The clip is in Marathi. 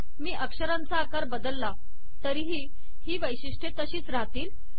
मी अक्षरांचा आकार बदलला तरीही ही वैशिष्ट्ये तशीच रहातील